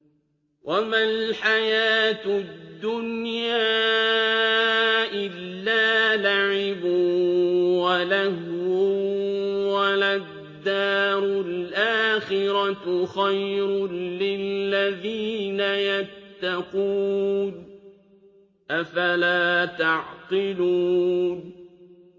وَمَا الْحَيَاةُ الدُّنْيَا إِلَّا لَعِبٌ وَلَهْوٌ ۖ وَلَلدَّارُ الْآخِرَةُ خَيْرٌ لِّلَّذِينَ يَتَّقُونَ ۗ أَفَلَا تَعْقِلُونَ